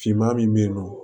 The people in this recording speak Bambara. Finman min bɛ yen nɔ